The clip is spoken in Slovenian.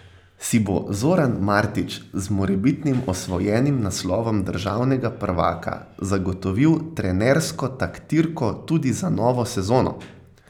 Si bo Zoran Martič z morebitnim osvojenim naslovom državnega prvaka zagotovil trenersko taktirko tudi za novo sezono?